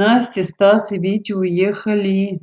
настя стас и витя уехали